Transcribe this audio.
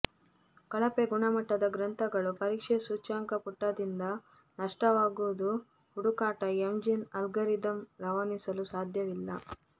ಕಳಪೆ ಗುಣಮಟ್ಟದ ಗ್ರಂಥಗಳು ಪರೀಕ್ಷೆ ಸೂಚ್ಯಂಕ ಪುಟದಿಂದ ನಷ್ಟವಾಗುವುದು ಹುಡುಕಾಟ ಎಂಜಿನ್ ಅಲ್ಗಾರಿದಮ್ ರವಾನಿಸಲು ಸಾಧ್ಯವಿಲ್ಲ